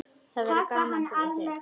Það verður gaman fyrir þig.